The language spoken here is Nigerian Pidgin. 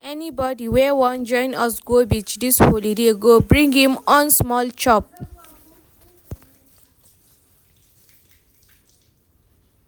Anybodi wey wan join us go beach dis holiday go bring im own small chop.